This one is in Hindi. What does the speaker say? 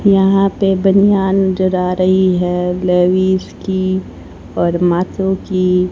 यहां पे बनियान नजर आ रही हैं। लेविस की और माचो की।